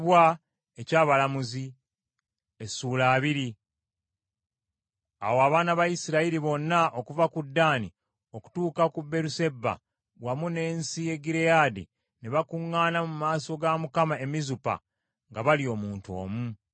Awo abaana ba Isirayiri bonna okuva ku Ddaani okutuuka ku Beeruseba wamu n’ensi ya Gireyaadi ne bakuŋŋaana mu maaso ga Mukama e Mizupa, nga bali omuntu omu.